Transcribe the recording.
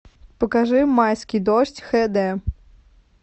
покажи майский дождь хэ дэ